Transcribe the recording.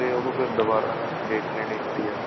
ਉਹਨੂੰ ਫ਼ੇਰ ਦੁਬਾਰਾ date ਲੈਣੀ ਪੈਂਦੀ ਹੈ